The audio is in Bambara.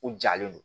U jalen don